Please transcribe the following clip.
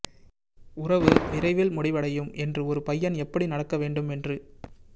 உறவு விரைவில் முடிவடையும் என்று ஒரு பையன் எப்படி நடக்க வேண்டும் என்று